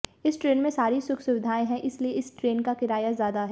इस ट्रेन में सारी सुख सुविधाएं हैं इसलिए इस ट्रेन का किराया ज्यादा है